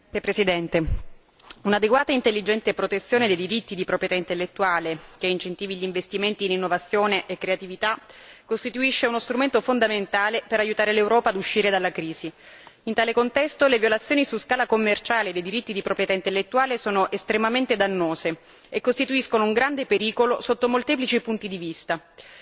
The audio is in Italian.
Signor Presidente, onorevoli colleghi, un'adeguata e intelligente protezione dei diritti di proprietà intellettuale, che incentivi gli investimenti, l'innovazione e la creatività, costituisce uno strumento fondamentale per aiutare l'Europa ad uscire dalla crisi. In tale contesto, le violazioni su scala commerciale dei diritti di proprietà intellettuale sono estremamente dannose e costituiscono un grande pericolo sotto molteplici punti di vista.